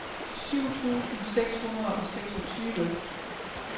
syv tusind seks hundrede og seksogtyve